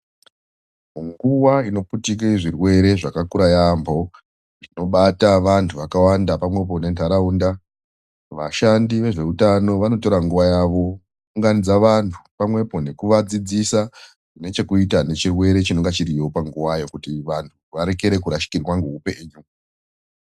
Nguwa inoputike zvirwere zvakakura yaampho, inobata vantu vakawanda nentaraunda. Vashandi vezveutano vanotora nguwa yavo, kuunganidza vantu , pamwepo nekuvadzidzisa zvine hekuta nechirwere chinenge chiriyo ngeuwaayo kuti varege kushikirwa ngeupenyu.